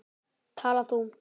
Tala þú.